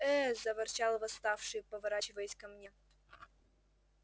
ээ заворчал восставший поворачиваясь ко мне